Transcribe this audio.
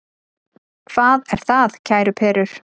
Hvað er það, kæru perur?